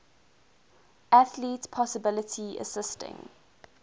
athlete possibly assisting